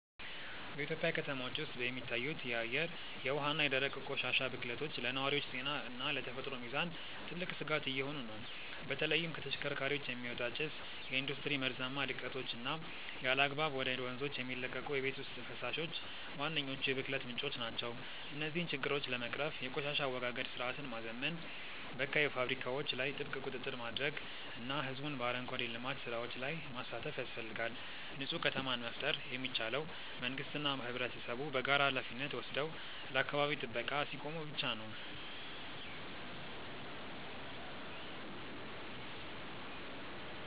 በኢትዮጵያ ከተሞች ውስጥ የሚታዩት የአየር፣ የውሃ እና የደረቅ ቆሻሻ ብክለቶች ለነዋሪዎች ጤና እና ለተፈጥሮ ሚዛን ትልቅ ስጋት እየሆኑ ነው። በተለይም ከተሽከርካሪዎች የሚወጣ ጭስ፣ የኢንዱስትሪ መርዛማ ልቀቶች እና ያለአግባብ ወደ ወንዞች የሚለቀቁ የቤት ውስጥ ፈሳሾች ዋነኞቹ የብክለት ምንጮች ናቸው። እነዚህን ችግሮች ለመቅረፍ የቆሻሻ አወጋገድ ስርዓትን ማዘመን፣ በካይ ፋብሪካዎች ላይ ጥብቅ ቁጥጥር ማድረግ እና ህዝቡን በአረንጓዴ ልማት ስራዎች ላይ ማሳተፍ ያስፈልጋል። ንፁህ ከተማን መፍጠር የሚቻለው መንግስትና ህብረተሰቡ በጋራ ሃላፊነት ወስደው ለአካባቢ ጥበቃ ሲቆሙ ብቻ ነው።